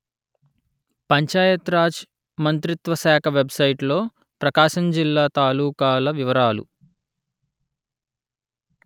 పంచాయత్ రాజ్ మంత్రిత్వ శాఖ వెబ్‌సైటులో ప్రకాశం జిల్లా తాలూకాల వివరాలు